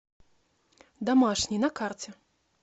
домашний на карте